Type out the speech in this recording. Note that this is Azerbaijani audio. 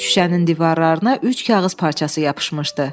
Şüşənin divarlarına üç kağız parçası yapışmışdı.